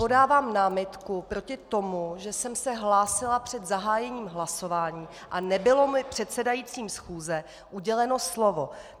Podávám námitku proti tomu, že jsem se hlásila před zahájením hlasování a nebylo mi předsedajícím schůze uděleno slovo.